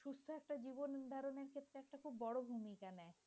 ভূমিকা নেয়